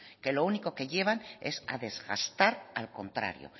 que lo único que llevan es a desgastar al contrario